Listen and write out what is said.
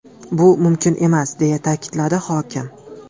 Bu mumkin emas”, deya ta’kidladi hokim.